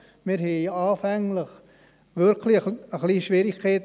Wir hatten anfänglich wirklich etwas Schwierigkeiten.